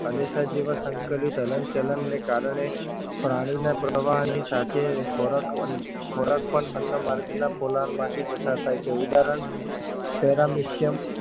અને હાલેસા જેવા સંકલિત હલનચલનને કારણે પ્રાણીના પ્રવાહની સાથે ખોરાક પણ અન્ન માર્ગના પોલાણમાંથી પસાર થાય છે ઉદાહરણ paramycium